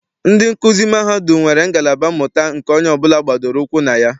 Ndị nkuzi mahadum nwere ngalaba mmụta nke onye ọbụla gbadoro ụkwụ na ya.